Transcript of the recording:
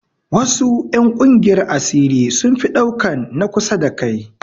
Wasu 'yan ƙungiyar asiri sun fi ɗaukan na kusa da kai